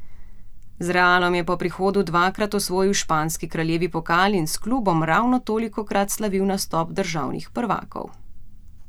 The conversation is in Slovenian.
Z Realom je po prihodu dvakrat osvojil španski kraljevi pokal in s klubom ravno tolikokrat slavil naslov državnih prvakov.